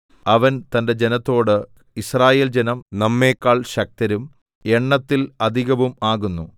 അവൻ തന്റെ ജനത്തോട് യിസ്രായേൽജനം നമ്മെക്കാൾ ശക്തരും എണ്ണത്തിൽ അധികവും ആകുന്നു